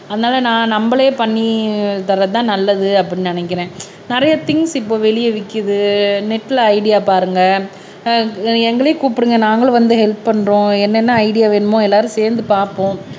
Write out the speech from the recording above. அதனால நான் நம்மளே பண்ணி தர்றதுதான் நல்லது அப்படின்னு நினைக்கிறேன் நிறைய திங்ஸ் இப்போ வெளியே விக்குது நெட்ல ஐடியா பாருங்க அஹ் எங்களையும் கூப்பிடுங்க நாங்களும் வந்து ஹெல்ப் பண்றோம் என்னென்ன ஐடியா வேணுமோ எல்லாரும் சேர்ந்து பார்ப்போம்